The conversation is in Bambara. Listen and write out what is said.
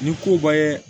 Ni ko bɛɛ ye